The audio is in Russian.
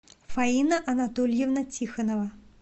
фаина анатольевна тихонова